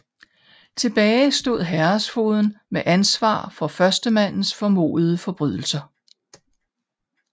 Tilbage stod herredsfogeden med ansvar for førstemandens formodede forbrydelser